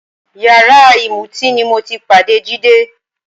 Yàrá ìmutíì ni mo ti pàdé Jídé